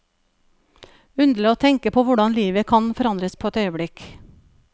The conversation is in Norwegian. Underlig å tenke på hvordan livet kan forandres på et øyeblikk.